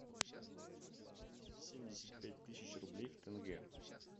двести семьдесят пять тысяч рублей в тенге